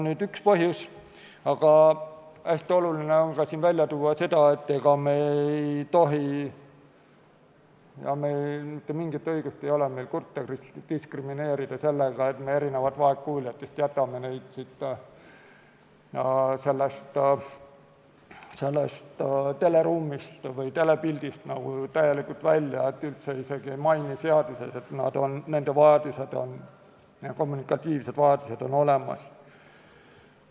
See on üks põhjusi, aga hästi oluline on välja tuua seda, et me ei tohi, meil ei ole mitte mingit õigust kurte diskrimineerida sellega, et me erinevalt vaegkuuljatest jätame nad teleruumi või telepildi mõjust täielikult välja, üldse isegi ei maini seaduses, et nende kommunikatiivsed vajadused on olemas.